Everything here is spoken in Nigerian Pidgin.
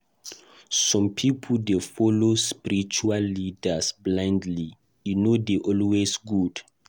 Some pipo dey follow spiritual leaders blindly; e no dey always good.